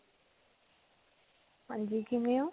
ਹਾਂਜੀ ਕਿਵੇਂ ਹੋ?